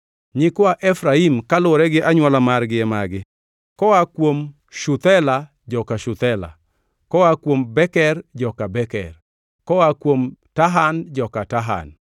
Nyikwa Efraim kaluwore gi anywola margi e magi: koa kuom Shuthela, joka Shuthela; koa kuom Beker, joka Beker; koa kuom Tahan, joka Tahan.